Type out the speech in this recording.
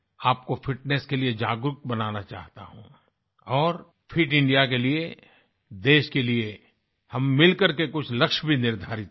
आपको फिटनेस के लिए जागरूक बनाना चाहता हूँ और फिट इंडिया के लिए देश के लिए हम मिल करके कुछ लक्ष्य भी निर्धारित करें